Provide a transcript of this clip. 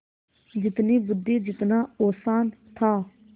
जितनी बुद्वि जितना औसान था